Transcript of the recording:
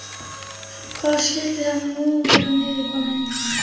Hvar skyldi hann nú vera niðurkominn?